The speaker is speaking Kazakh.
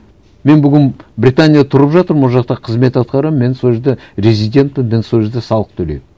мен бүгін британияда тұрып жатырмын ол жақта қызмет атқарамын мен сол жерде резидентпін мен сол жерде салық төлеймін